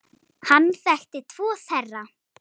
Hann þekkti tvo þeirra.